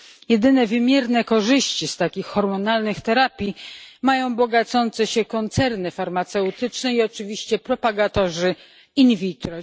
Jedyne wymierne korzyści z takich hormonalnych terapii mają bogacące się koncerny farmaceutyczne i oczywiście propagatorzy in vitro.